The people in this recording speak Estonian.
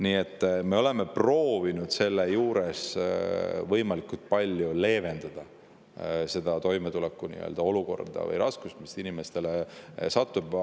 Nii et me oleme proovinud võimalikult palju leevendada seda toimetulekuolukorda või neid raskusi, mis inimestel.